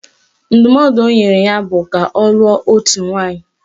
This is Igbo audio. Ndụmọdụ o nyere ya bụ ka ọ lụọ otu nwaanyị